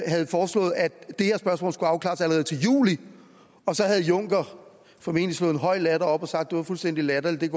havde foreslået at det her spørgsmål skulle afklares allerede til juli og så havde junker formentlig slået en høj latter op og sagt at det var fuldstændig latterligt